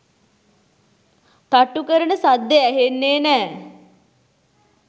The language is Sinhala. තට්ටු කරන සද්දෙ ඇහෙන්නේ නෑ”.